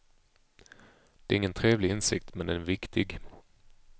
Det är ingen trevlig insikt, men den är viktig.